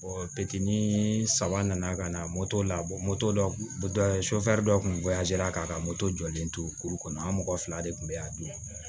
bitiri ni saba nana ka na labɔ dɔ dɔ kun k'a ka moto jɔlen to kuru kɔnɔ an mɔgɔ fila de kun be yan dun